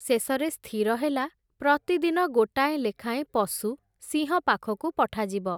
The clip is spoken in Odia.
ଶେଷରେ ସ୍ଥିର ହେଲା, ପ୍ରତିଦିନ ଗୋଟାଏ ଲେଖାଏଁ ପଶୁ, ସିଂହ ପାଖକୁ ପଠାଯିବ ।